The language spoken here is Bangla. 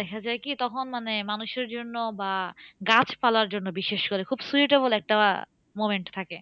দেখা যায় কি, তখন মানে মানুষের জন্য বা গাছপালার জন্য বিশেষ করে খুব suitable একটা moment থাকে।